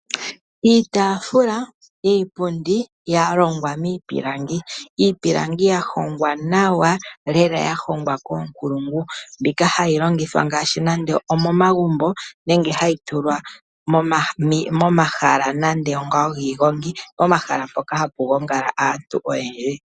Iitaafula, iipundi ya longwa miipilangi iipilangi ya hongwa nawa lel ya hongwa koonkulungu mbyoka hayi longithwa nande omomagumbo nenge hayi tulwa momahala nande ogo ngoka giigongi ,pomahala mpoka hapu gongala aantu oyendji.